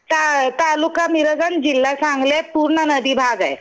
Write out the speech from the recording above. ता तालुका मिरज अन जिल्हा सांगली आहे. पूर्ण नदी भाग आहे.